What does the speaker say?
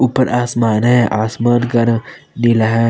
ऊपर आसमान है आसमान का रंग नीला है।